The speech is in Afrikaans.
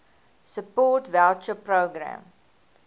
support voucher programme